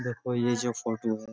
देखो यह जो फोटो है --